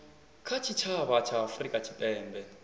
kha tshitshavha tsha afurika tshipembe